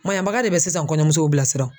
Maɲanbaga de bɛ sisan kɔɲɔmusow bila sira.